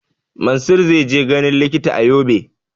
Mansur zai je ganin likita a Yobe